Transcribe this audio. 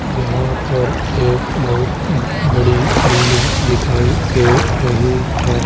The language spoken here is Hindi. यहा पर एक बहुत बड़ी बिल्डिंग दिखाई दे रही है।